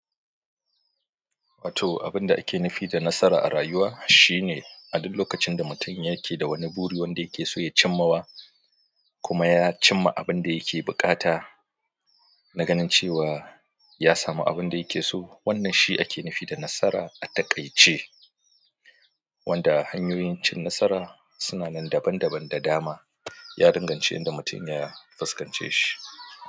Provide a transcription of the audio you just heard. Wato abin da ake nufi da nasara a rayuwa shine a duk lokacin da mutum yake da wani buri wanda yake so ya cimma wa kuma ya cimma abin da yake buƙata naganin cewa ya samu abin da yake so. Wannan shi ake nufi da nasara a taƙaice, wanda hanyoyin cin nasara suna nan daban daban da dama. Ya danganci inda mutum ya fuskance shi.